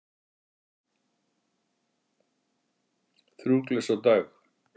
Þrjú glös á dag!